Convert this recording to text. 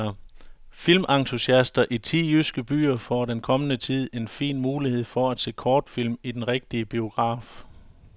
Filmentusiaster i ti jyske byer får i den kommende tid en fin mulighed for at se kortfilm i den rigtige biograf.